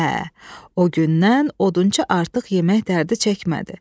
Hə, o gündən odunça artıq yemək dərdi çəkmədi.